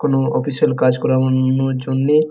কোনো অফিসিয়াল কাজ করা অন্যর জন্যে।